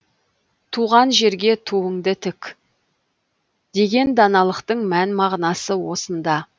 туған жерге туыңды тік деген даналықтың мән мағынасы осында